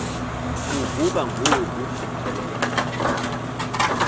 kuvuka ngoku qelele